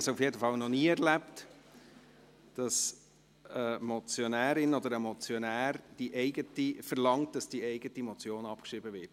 Ich habe es jedenfalls noch nie erlebt, dass eine Motionärin oder ein Motionär verlangt, dass die eigene Motion abgeschrieben wird.